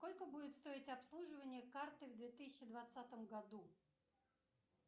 сколько будет стоить обслуживание карты в две тысячи двадцатом году